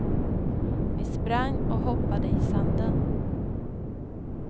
Vi sprang och hoppade i sanden.